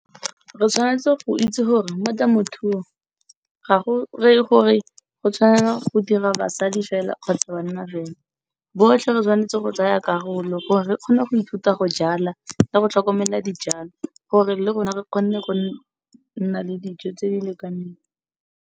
Re tshwanetse go itse gore mo temothuong ga go reye gore go tshwanela go dira basadi fela kgotsa banna fela. Rotlhe re tshwanetse go tsaya karolo gore re kgone go ithuta go jala le go tlhokomela dijalo, gore le rona re kgone go nna le dijo tse di lekaneng.